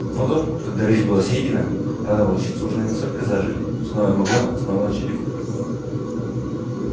а потом когда рысь была съедена раны волчицы уже настолько зажили что она могла снова начать охоту